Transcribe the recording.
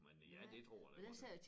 Men ja det tror jeg da godt jeg